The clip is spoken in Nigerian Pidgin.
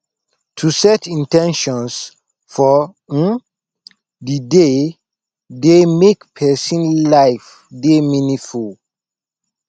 to set in ten tions for um di day dey make persin life de meaningful